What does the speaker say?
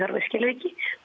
með skilríki